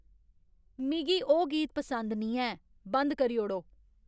मिगी ओह् गीत पसंद नेईं ऐ बंद करी ओड़ो